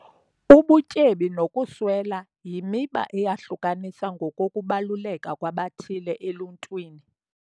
Ubutyebi nokuswela yimiba eyahlukanisa ngokokubaluleka kwabathile eluntwini.